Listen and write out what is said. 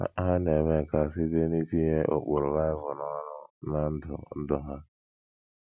Ha na - eme nke a site n’itinye ụkpụrụ Bible n’ọrụ ná ndụ ndụ ha.